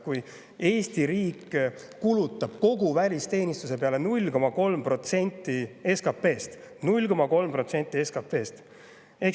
Aga Eesti riik kulutab välisteenistuse peale 0,3% SKP‑st – 0,3% SKP‑st!